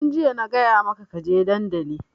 Tun jiya na gaya maka ka je dandali!